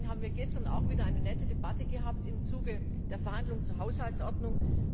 ab. Deswegen haben wir gestern auch wieder eine nette Debatte gehabt im Zuge der Verhandlungen zur Haushaltsordnung.